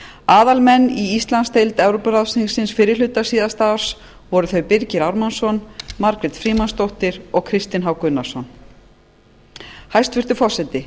aðalmenn í íslandsdeild evrópuráðsþingsins fyrri hluta síðasta árs voru þau birgir ármannsson sjálfstæðisflokki margrét frímannsdóttir samfylkingunni og kristinn h gunnarsson framsóknarflokki hæstvirtur forseti